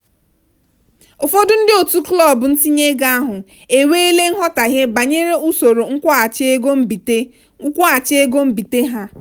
ụfọdụ ndị otu klọb ntinye ego ahụ enweela nghọtahie banyere usoro nkwụghachi ego mbite nkwụghachi ego mbite ha.